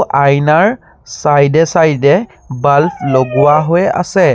আইনাৰ চাইড এ চাইড এ বাল্ব লগোৱা হৈ আছে।